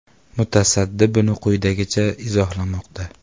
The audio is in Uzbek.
Mutasaddi buni quyidagicha izohlamoqda.